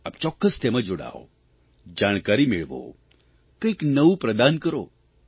આપ ચોક્કસ તેમાં જોડાવ જાણકારી મેળવો કંઇક નવું પ્રદાન કરો